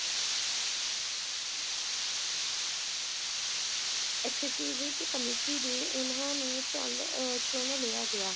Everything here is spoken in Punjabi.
ਵਿਚ committee ਦੇ ਉਹਨਾਂ ਨੂੰ ਝੱਲ~ ਅਹ ਚੁਣ ਲਿਆ ਗਿਆ